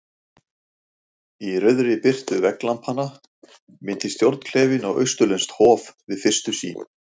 Í rauðri birtu vegglampanna minnti stjórnklefinn á austurlenskt hof- við fyrstu sýn.